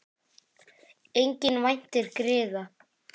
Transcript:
Enginn væntir griða.